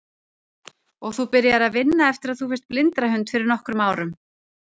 Og þú byrjaðir að vinna eftir að þú fékkst blindrahund fyrir nokkrum árum?